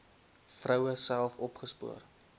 vroue self opgespoor